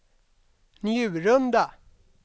Njurunda